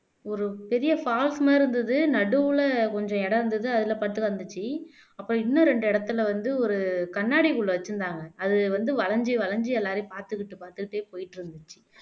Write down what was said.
ஒரு பெரிய falls மாதிரி இருந்தது நடுவுல கொஞ்சம் இடம் இருந்தது அதுல பட்டு வந்துச்சு அப்ப இன்னும் ரெண்டு இடத்துல வந்து ஒரு கண்ணாடிக்குள்ள வச்சிருந்தாங்க அது வந்து வளைஞ்சு வளைஞ்சு எல்லாரையும் பார்த்துக்கிட்டு பார்த்துட்டே போயிட்டு இருந்துச்சு